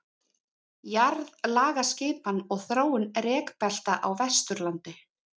jarðlagaskipan og þróun rekbelta á vesturlandi